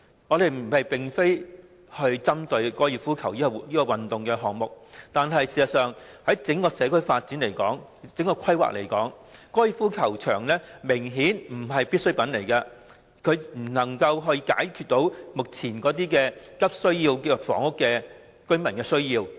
我們並非針對高爾夫球這項運動，但就整個社區的發展及規劃而言，高爾夫球場明顯不是必需品，亦未能解決目前急需房屋的市民的需要。